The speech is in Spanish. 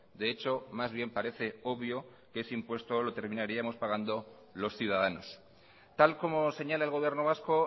de hecho más bien parece obvio que ese impuesto lo terminaríamos pagando los ciudadanos tal como señala el gobierno vasco